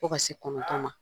Fo ka se kɔnɔntɔ ma.